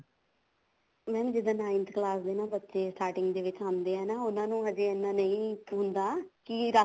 mam ਜਿੱਦਾਂ ninth ਦੇ class ਦੇ ਬੱਚੇ starting ਚ ਆਉਂਦੇ ਆ ਨਾ ਉਹਨਾ ਨੂੰ ਹਜੇ ਇੰਨਾ ਨਹੀਂ ਹੁੰਦਾ ਕੀ ਰੱਖ